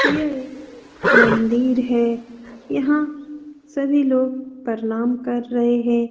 यह एक मंदिर है यहाँ सभी लोग प्रणाम कर रहे हैं ।